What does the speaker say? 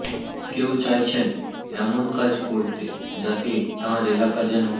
কেউ চাইছেন এমন কাজ করতে যাতে তাঁর এলাকা যেন